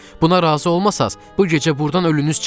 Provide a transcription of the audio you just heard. Buna razı olmasanız, bu gecə burdan ölünüz çıxacaq!